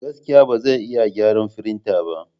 Gaskiya! Ba zan iya gyara firinta ba.